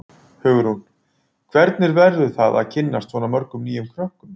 Hugrún: Hvernig verður það að kynnast svona mörgum nýjum krökkum?